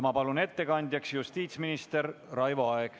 Ma palun ettekandjaks justiitsminister Raivo Aegi.